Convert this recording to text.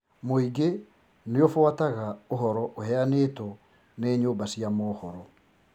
Mũingi nĩũbũataga ũhoro ũheanĩtwo nĩ nyũmba cia mohoro